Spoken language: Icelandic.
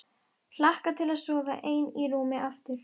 Hlakka til að sofa ein í rúmi aftur.